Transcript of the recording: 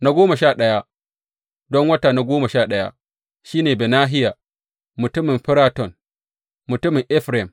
Na goma sha ɗaya, don wata goma sha ɗaya, shi ne Benahiya mutumin Firaton, mutumin Efraim.